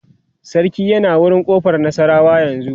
sarki yana wurin ƙofar nasarawa yanzun